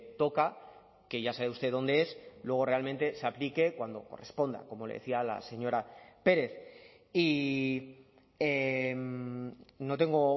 toca que ya sabe usted dónde es luego realmente se aplique cuando corresponda como le decía la señora pérez y no tengo